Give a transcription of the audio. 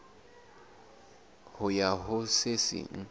ho ya ho se seng